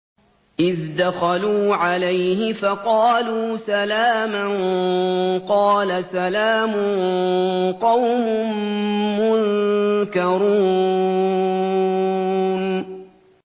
إِذْ دَخَلُوا عَلَيْهِ فَقَالُوا سَلَامًا ۖ قَالَ سَلَامٌ قَوْمٌ مُّنكَرُونَ